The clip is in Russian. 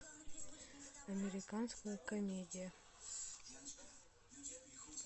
американская комедия